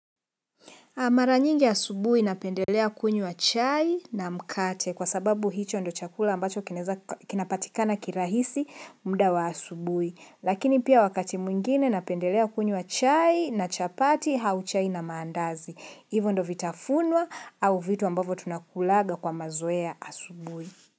Mara nyingi asubuhi napendelea kunywa chai na mkate kwa sababu hicho ndo chakula ambacho kinapatikana kirahisi mda wa asubui. Lakini pia wakati mwingine napendelea kunywa chai na chapati au chai na maandazi. Hivo ndo vitafunwa au vitu ambavo tunakulaga kwa mazoea asubui.